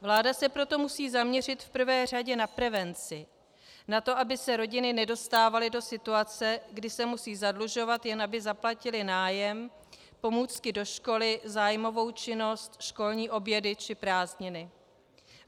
Vláda se proto musí zaměřit v prvé řadě na prevenci, na to, aby se rodiny nedostávaly do situace, kdy se musí zadlužovat, jen aby zaplatily nájem, pomůcky do školy, zájmovou činnost, školní obědy či prázdniny.